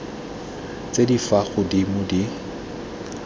tse di fa godimo di